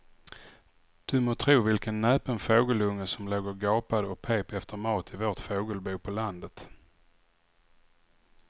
Du må tro vilken näpen fågelunge som låg och gapade och pep efter mat i vårt fågelbo på landet.